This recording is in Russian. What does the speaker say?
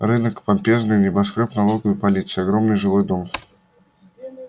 рынок помпезный небоскрёб налоговой полиции огромный жилой дом